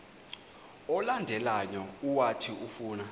olandelayo owathi ufuna